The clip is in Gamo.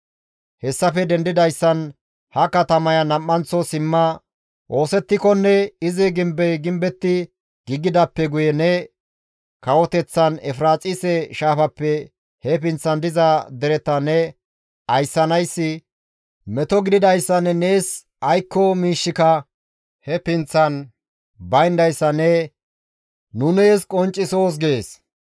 Hessafe dendidayssan ha katamaya nam7anththo simma oosettikonne izi gimbey gimbetti giigidaappe guye ne kawoteththan Efiraaxise shaafappe he pinththan diza dereta ne ayssanayssi meto gididayssanne nees aykko miishshika he pinththan bayndayssa nu nees qonccisoos» gees.